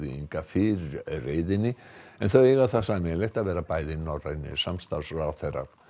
Inga fyrir reiðinni en þau eiga það sameiginlegt að vera bæði norrænir samstarfsráðherrar